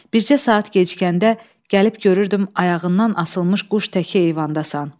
Bircə saat gecikəndə gəlib görürdüm ayağından asılmış quş təki eyvandasan.